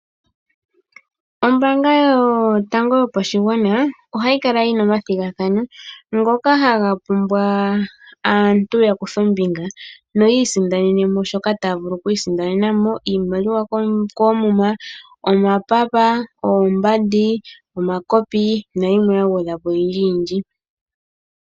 Ombaanga yotango yopashigwana ohayi kala yina omathigathano ngoka haga pumbwa aantu ya kuthe ombinga noyi isindanene shoka taya vulu okwiisindanena mo iimaliwa koomuma, omapapa, omakopi ,oombandi nayimwe ya gwedhwa po oyindji yindji .